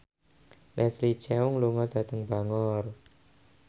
Leslie Cheung lunga dhateng Bangor